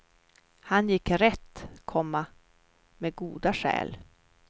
Han gick rätt, komma med goda skäl. punkt